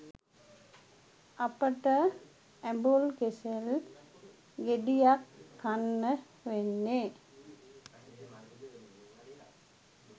අපිට ඇබුල් කෙසෙල් ගේඩියක් කන්න වෙන්නේ